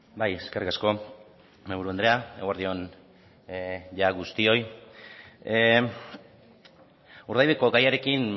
bai eskerrik asko mahaiburu andrea eguerdi on jada guztioi urdaibaiko gaiarekin